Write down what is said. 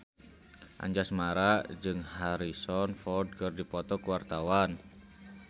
Anjasmara jeung Harrison Ford keur dipoto ku wartawan